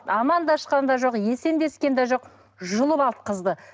амандасқан да жоқ есендескен де жоқ жұлып алды қызды